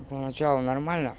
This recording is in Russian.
поначалу нормально